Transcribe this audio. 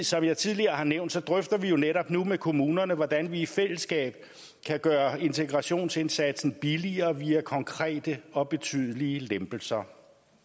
som jeg tidligere har nævnt drøfter vi jo netop nu med kommunerne hvordan vi i fællesskab kan gøre integrationsindsatsen billigere via konkrete og betydelige lempelser